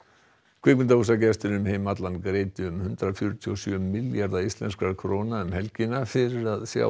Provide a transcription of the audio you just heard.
kvikmyndahúsagestir um heim allan greiddu um hundrað fjörutíu og sjö milljarða íslenskra króna um helgina fyrir að sjá